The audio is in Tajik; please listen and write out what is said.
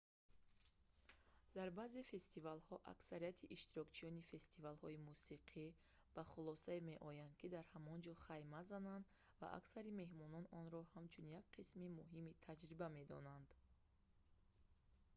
дар баъзе фестивалҳо аксарияти иштирокчиёни фестивалҳои мусиқӣ ба хулосае меоянд ки дар ҳамонҷо хайма зананд ва аксари меҳмонон онро ҳамчун як қисми муҳими таҷриба медонанд